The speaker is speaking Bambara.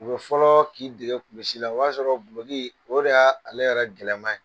U be fɔlɔ k'i dege kulusi la, o b'a sɔrɔ guloki o de y'a ale yɛrɛ gɛlɛman ye.